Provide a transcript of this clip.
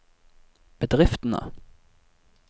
bedriftene